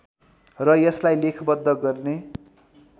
र यसलाई लेखबद्ध गर्ने